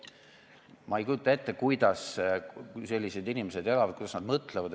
Ma ei kujuta ette, kuidas sellised inimesed elavad, kuidas nad mõtlevad.